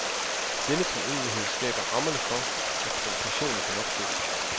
Denne treenighed skaber rammerne for, at provokationen kan opstå.